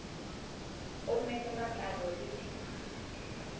ommeng le matlalo le di